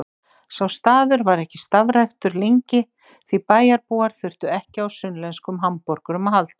Sá staður var ekki starfræktur lengi því bæjarbúar þurftu ekki á sunnlenskum hamborgurum að halda.